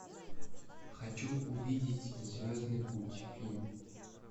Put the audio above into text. хочу увидеть звездный путь фильм